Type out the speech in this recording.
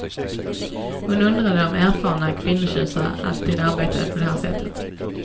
Hon undrade om erfarna kvinnotjusare alltid arbetade på det här sättet.